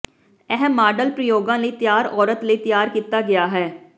ਇਹ ਮਾਡਲ ਪ੍ਰਯੋਗਾਂ ਲਈ ਤਿਆਰ ਔਰਤ ਲਈ ਤਿਆਰ ਕੀਤਾ ਗਿਆ ਹੈ